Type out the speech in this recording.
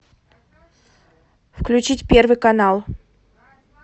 включить первый канал